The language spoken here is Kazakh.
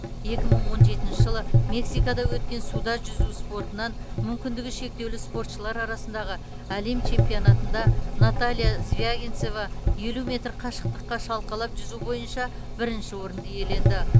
екі мың он жетінші жылы мексикада өткен суда жүзу спортынан мүмкіндігі шектеулі спортшылар арасындағы әлем чемпионатында наталья звягинцева елу метр қашықтыққа шалқалап жүзу бойынша бірінші орынды иеленді